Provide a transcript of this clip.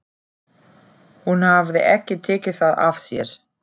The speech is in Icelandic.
Hún hafði ekki tekið það af sér.